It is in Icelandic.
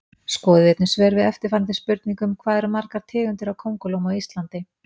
Skoðið einnig svör við eftirfarandi spurningum Hvað eru margar tegundir af kóngulóm á Íslandi?